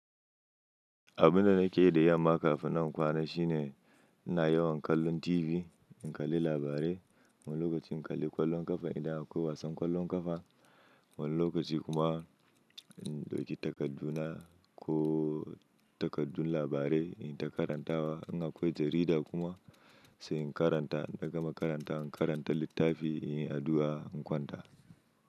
Abin da nake yi da yamma kafin nan in kwana shine ina yawan kallon TV, in kalli labarai, wani lokaci in kalli ƙwallon ƙafa idan akwai wasan ƙwallon ƙafa. Wani lokaci kuma in dauki takarduna ko takardun labarai in ta karantawa. In akwai jarida kuma sai in karanta, in na gama karantawa, in karanta littafi, in yi addu'a, in kwanta.